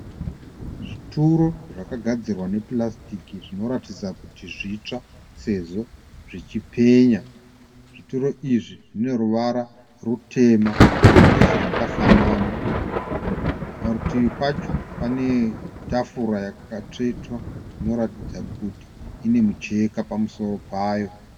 Zvituro zvakagadzirwa nepurasitiki zvinoratidza kuti zvitsva sezvo zvichipenya. Zvituro izvi zvine ruvara rutema zvese zvakafanana. Parutivi pacho pane tafura yakatsvetwa inoratidza kuti ine mucheka pamusoro payo.